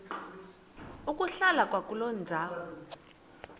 ukuhlala kwakuloo ndawo